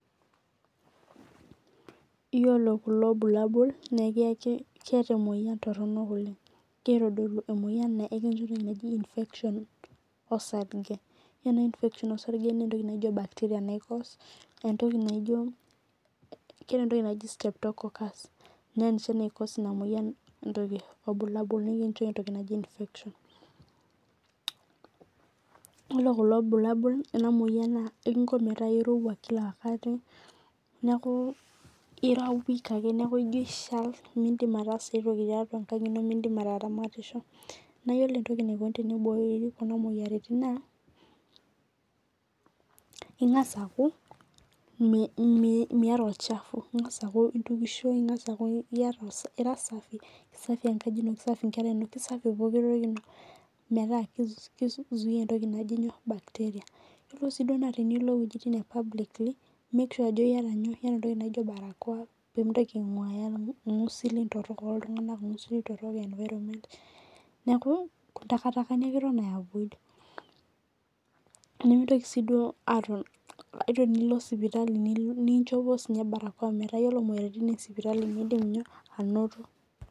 Iyiolo kulo bulabaul naa kegira aitodolu emoyian naata infection osarge iyiolo ena infection naa entoki naijio bacteria naicause eyiolo ena moyian naa ekingo metaa erowua kila wakati neeku ira weak ejio eshal midim ataasa aitoki tiatua enkang eno naa eyiolo entoki naikoni teniborii Kuna moyiaritin naa eng'as aku Miata olchafu eng'as akuu entokisho neekuera safi kisafi enkaji eno kisafi enkera enono kisafi pooki toki eno meeta kizuia bacteria eyiolo tenilo ewuejitin ee publicly make sure Ajo eyata entoki naijio barakoa pee mintoki ainguayaa irngusili torok loo iltung'ana irngusili torok lee environment neeku takitakani ake eto ayavoid nimintoki sii aton metaa ore pee elo sipitali naa enjopoi barakoa metaa ore sininche moyiaritin ee sipitali midim anoto